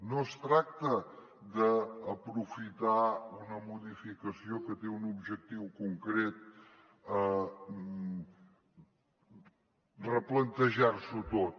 no es tracta d’aprofitar una modificació que té un objectiu concret replantejar s’ho tot